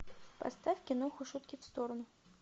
поставь киноху шутки в сторону